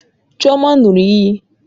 Chioma ṅụrụ iyi